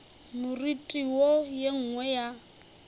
moriti wo ye nngwe ya